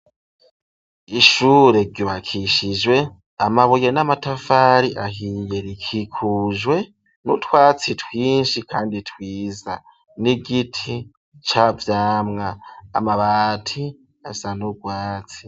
Ishure ryubakishijwe amabuye n'amatafari ahiye, rikikujwe n'utwatsi twinshi kandi twiza n'igiti ca vyamwa. Amabati asa n'urwatsi.